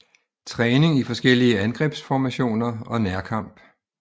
Træning i forskellige angrebsformationer og nærkamp